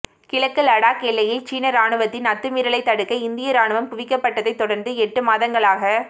கிழக்கு லடாக் எல்லையில் சீன ராணுவத்தின் அத்துமீறலை தடுக்க இந்திய ராணுவம் குவிக்கப்பட்டதை தொடர்ந்து எட்டு மாதங்களாக